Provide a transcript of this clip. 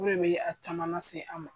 O de bɛ a caman lase a ma.